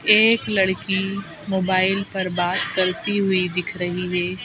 एक लड़की मोबाइल पर बात करती हुई दिख रही है।